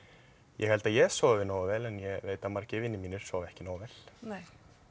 ég held að ég sofi nógu vel en ég veit að margir vinir mínir sofa ekki nógu vel nei